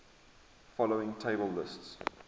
following table lists